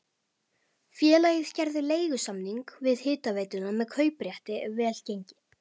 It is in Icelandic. Félagið gerði leigusamning við hitaveituna með kauprétti ef vel gengi.